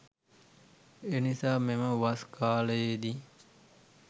එනිසා මෙම වස් කාලයේ දී